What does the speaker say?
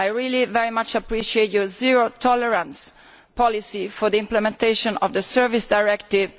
I very much appreciate your zero tolerance policy for the implementation of the Services Directive.